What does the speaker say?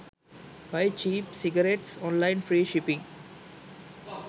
buy cheap cigarettes online free shipping